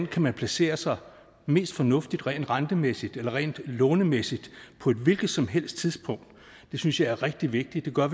kan placere sig mest fornuftigt rent rentemæssigt eller rent lånemæssigt på et hvilket som helst tidspunkt synes jeg er rigtig vigtigt det gør